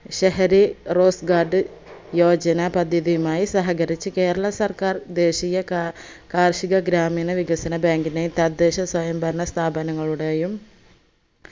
Shahari rose guard Yojana പദ്ധതിയുമായി സഹകരിച്ചു കേരള സർക്കാർ ദേശീയ കാ കാർഷിക ഗ്രാമീണ വികസന bank നെ തദ്ദേശ സ്വയംഭരണ സ്ഥാപങ്ങളുടെയും